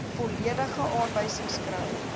volledige aanwysings kry